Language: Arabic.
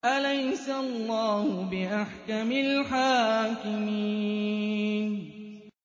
أَلَيْسَ اللَّهُ بِأَحْكَمِ الْحَاكِمِينَ